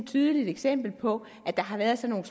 tydeligt eksempel på at der har været sådan